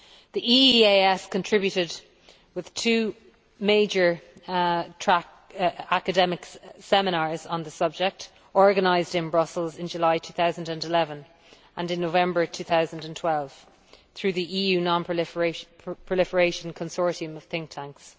The EEAS contributed with two major academic seminars on the subject organised in Brussels in July 2011 and in November 2012 through the EU non proliferation consortium of think tanks.